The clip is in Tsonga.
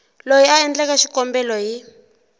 loyi a endleke xikombelo hi